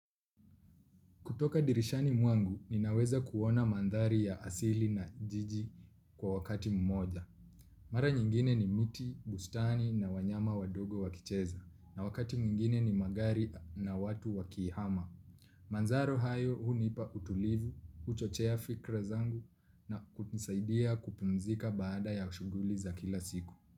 Kutoka dirishani mwangu, ninaweza kuona mandhari ya asili na jiji kwa wakati mmoja. Mara nyingine ni miti, bustani na wanyama wadogo wakicheza. Na wakati mwingine ni magari na watu wakihama. Manzaro hayo hunipa utulivu, huchochea fikira zangu na kunisaidia kupumzika baada ya shughuli za kila siku.